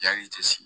Yanni i tɛ sigi